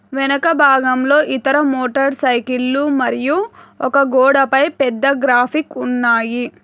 వెనక భాగంలో ఇతర మోటర్ సైకీళ్ళు మరియు ఒక గోడపై పెద్ద గ్రాఫిక్ ఉన్నాయి.